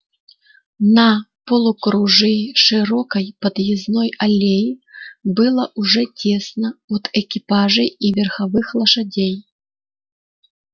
на полукружии широкой подъездной аллеи было уже тесно от экипажей и верховых лошадей